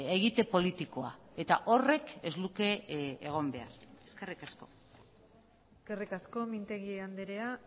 egite politikoa eta horrek ez luke egon behar eskerrik asko eskerrik asko mintegi andrea